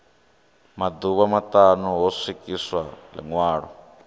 maḓuvha maṱanu ho swikiswa ḽiṅwalo